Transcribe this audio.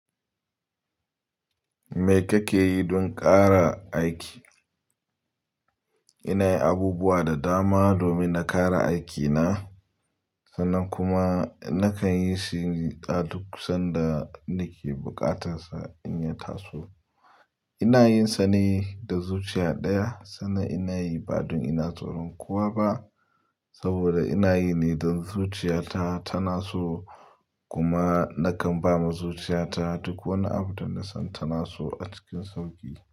Me kake yi don ƙara aiki? Ina yi abubuwa da dama domin na ƙara aikina, sannan kuma nakan yi shi da duk sanda nake buƙatar in ya taso ina yin sa ne da zuciya ɗaya, sannan ina yi ba don ina tsoron kowa ba saboda ina yi ne don zuciyata tana so kuma nakan ba ma zuciyata duk wani abu da na san tana so a cikin sauƙi.